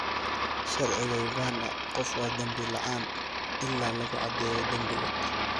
Sharciga Uganda, qof waa dambi la'aan ilaa lagu caddeeyo dambiga.